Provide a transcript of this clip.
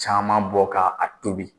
Caman bɔ ka a tobi.